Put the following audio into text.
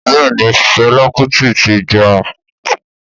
Bẹ́ẹ̀ni Fẹla Kuti ti jẹun